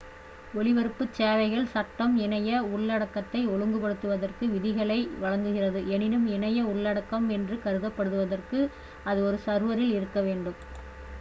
ஒளிபரப்பு சேவைகள் சட்டம் இணைய உள்ளடக்கத்தை ஒழுங்குபடுத்துவதற்கு விதிகளை வழங்குகிறது எனினும் இணைய உள்ளடக்கம் என்று கருதப்படுவதற்கு அது ஒரு சர்வரில் இருக்க வேண்டும்